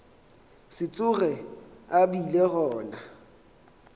se tsoge a bile gona